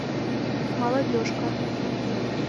молодежка